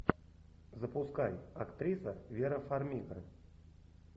запускай актриса вера фармига